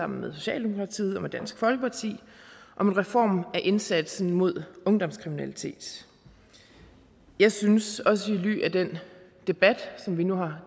med socialdemokratiet og dansk folkeparti om en reform af indsatsen mod ungdomskriminalitet jeg synes også i lyset af den debat som vi nu har